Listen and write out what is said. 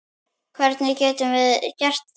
Hvernig getum við gert það?